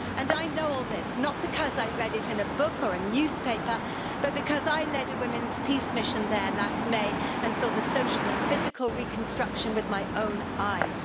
I know all this not because I read it in a book or a newspaper, but because I led a women's peace mission there last May and saw the social and physical reconstruction with my own eyes.